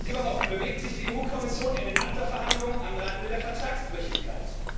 Überhaupt bewegt sich die EU Kommission in den ACTA Verhandlungen am Rande der Vertragsbrüchigkeit.